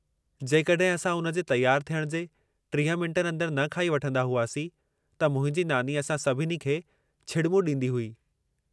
जेकॾहिं असां उन जे तयारु थियण जे 30 मिन्टनि अंदरि न खाई वठंदा हुआसीं त मुंहिंजी नानी असां सभिनी खे छिड़िॿूं ॾींदी हुई।